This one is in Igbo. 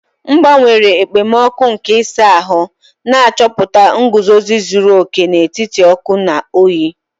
M gbanwere okpomọkụ nke ịsa ahụ, na-achọta nguzozi zuru oke n'etiti ọkụ na oyi.